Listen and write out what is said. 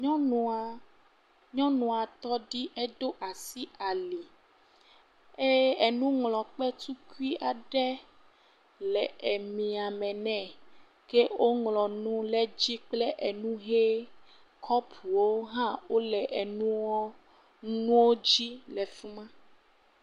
nyɔnua nyɔnua tɔɖi eɖó asi ali eye enuŋlɔkpe tukui aɖe le emia mɛ nɛ ke wó ŋlɔnu lɛ dzi kplɛ enu hɛ kɔpuwo hã lɛ enuwo dzi la fima